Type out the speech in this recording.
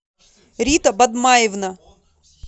рита бадмаевна